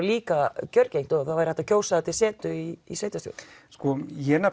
líka kjörgengt og þá væri hægt að kjósa það til setu í sveitarstjórn sko